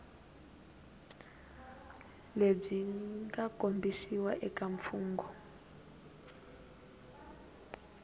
lebyi nga kombisiwa eka mfungho